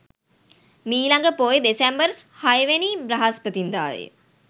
මීළඟ පෝය දෙසැම්බර් 06 වැනි දා බ්‍රහස්පතින්දා ය.